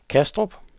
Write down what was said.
Kastrup